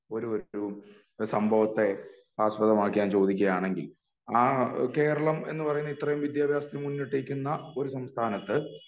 ഒരു ഒരു സംഭവത്തെ ആസ്പദമാക്കി ഞാൻ ചോതിക്കുകയാണെങ്കിൽ ആ കേരളം എന്ന് പറയുന്ന ഇത്രേം വിദ്യാഭ്യാസത്തിൽ മുന്നിട്ട് നിൽക്കുന്ന ഒരു സംസ്ഥാനത്ത്